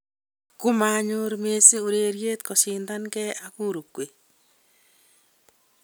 Kumanyor Messi ureriet koshindanigei ak Uruguay